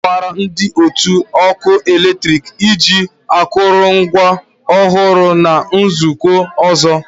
Ọ ga-akọwara ndị otu ọkụ eletrik iji akụrụngwa ọhụrụ na nzukọ ọzọ